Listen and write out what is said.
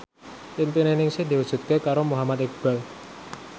impine Ningsih diwujudke karo Muhammad Iqbal